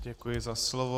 Děkuji za slovo.